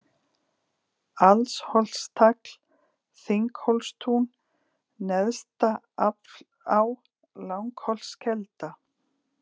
Alsholtstagl, Þinghólstún, Neðstaflá, Langholtskelda